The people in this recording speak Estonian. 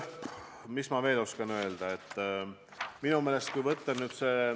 Mis ma veel oskan öelda?